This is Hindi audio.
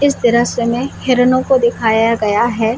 इस दृश्य में हिरणों को दिखाया गया हैं।